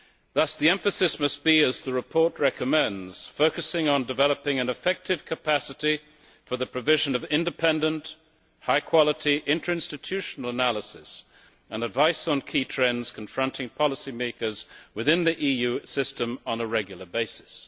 Thus the emphasis must be, as the report recommends, on developing an effective capacity for the provision of independent, high quality, interinstitutional analyses and advice on key trends confronting policy makers within the EU system on a regular basis.